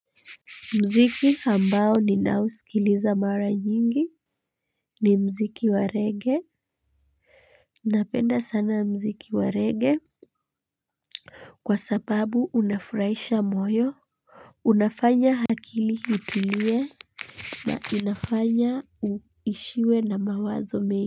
Muziki ambao ninausikiliza mara nyingi ni muziki wa rege napenda sana muziki wa rege. Kwa sababu unafurahisha moyo, unafanya akili itulie na inafanya uishiwe na mawazo mengi.